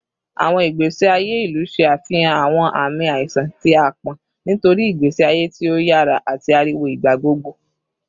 Awọn igbesi aye ilu ṣe afihan awọn aami aiṣan ti aapọn nitori igbesi aye ti o yara ati ariwo igbagbogbo